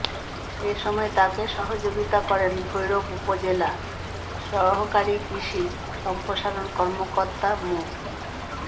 এ সময় তাঁকে সহযোগিতা করেন ভৈরব উপজেলা সহকারী কৃষি সম্প্রসারণ কর্মকর্তা মো